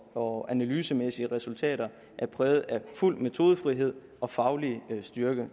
og analysemæssige resultater er præget af fuld metodefrihed og faglig styrke